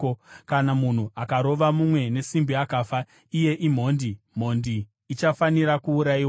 “ ‘Kana munhu akarova mumwe nesimbi akafa, iye imhondi; mhondi ichafanira kuurayiwa.